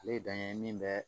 Ale ye dan ye min bɛ